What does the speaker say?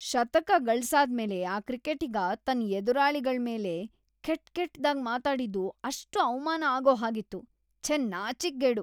ಶತಕ ಗಳ್ಸಾದ್ಮೇಲೆ ಆ ಕ್ರಿಕೆಟಿಗ ತನ್ ಎದುರಾಳಿಗಳ್ಮೇಲೆ ಕೆಟ್‌ಕೆಟ್ದಾಗ್ ಮಾತಾಡಿದ್ದು ಎಷ್ಟ್‌ ಅವ್ಮಾನ ಆಗೋ ಹಾಗಿತ್ತು, ಛೆ ನಾಚಿಕ್ಗೇಡು.